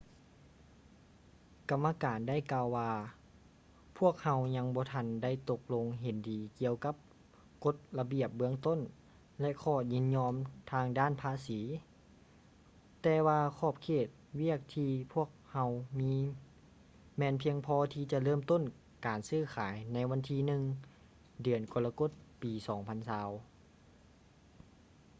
ກຳມະການໄດ້ກ່າວວ່າ ພວກເຮົາຍັງບໍ່ທັນໄດ້ຕົກລົງເຫັນດີກ່ຽວກັບກົດລະບຽບເບື້ອງຕົ້ນ ແລະ ຂໍ້ຍິນຍອມທາງດ້ານພາສີ ແຕ່ວ່າຂອບເຂດວຽກທີ່ພວກເຮົາມີແມ່ນພຽງພໍທີ່ຈະເລີ່ມຕົ້ນການຊື້ຂາຍໃນວັນທີ 1 ເດືອນກໍລະກົດປີ 2020